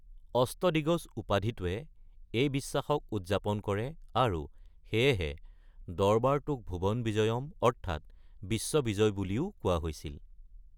অষ্টদিগজ উপাধিটোৱে এই বিশ্বাসক উদযাপন কৰে আৰু সেয়েহে দৰবাৰটোক ভুৱন বিজয়ম অৰ্থাৎ বিশ্ব বিজয় বুলিও কোৱা হৈছিল।